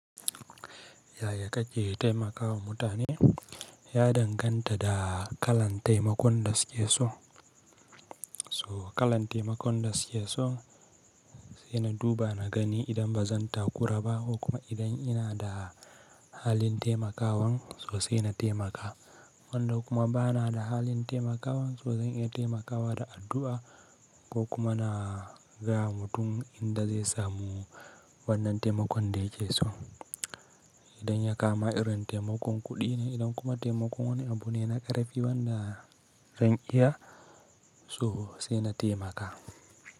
Yaya kake taimakawa mutane? Ya danganta da kalan taimakon da suke so. To, kalan taimakon da suke so, sai na duba na gani idan ba zan takura ba ko kuma idan ina da halin taimakawan, to sai na taimaka. Wanda kuma ba na da halin taimakawa, to zan iya taimakawa da addu'a ko kuma na gaya wa mutum inda zai samu wannan taimakon da yake so. Idan ya kama irin taimakon kuɗi ne idan kuma taimakon wani abune na ƙarfi wanda zan iya, to sai na taimaka.